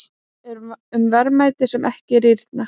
Um verðmæti sem ekki rýrna.